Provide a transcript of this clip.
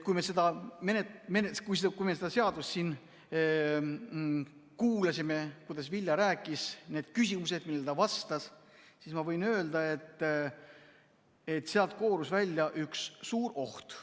Kui me seda ettekannet siin kuulasime, kui Vilja rääkis, need küsimused, millele ta vastas, siis ma võin öelda, et sealt koorus välja üks suur oht.